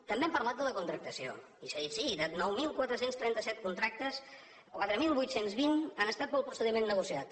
també han parlat de la contractació i s’ha dit sí de nou mil quatre cents i trenta set contractes quatre mil vuit cents i vint han estat pel procediment negociat